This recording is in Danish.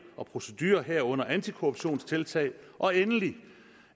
og procedurer herunder antikorruptionstiltag og endelig